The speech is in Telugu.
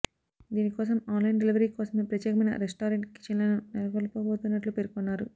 దీనికోసం ఆన్లైన్ డెలివరీ కోసమే ప్రత్యేకమైన రెస్టారెంట్ కిచెన్లను నెలకొల్పబోతున్నట్లు పేర్కొన్నారు